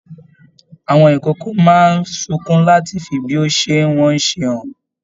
Àwọn ikòkò máa n sunkún làti fí bí o ṣe n wọn ṣe hàn.